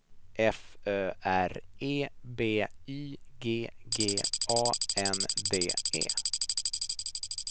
F Ö R E B Y G G A N D E